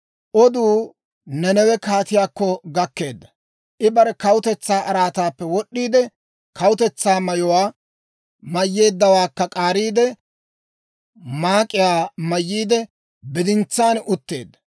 Oduu Nanawe kaatiyaakko gakkeedda; I bare kawutetsaa araataappe wod'd'iide, kawutetsaa mayuwaa mayyeeddawaakka k'aariide, maak'iyaa mayyiide, bidintsaan utteedda.